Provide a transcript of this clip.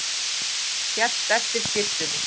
Hélt eftir skyrtunni